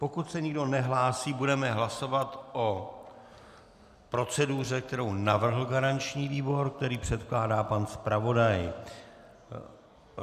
Pokud se nikdo nehlásí, budeme hlasovat o proceduře, kterou navrhl garanční výbor, kterou předkládá pan zpravodaj.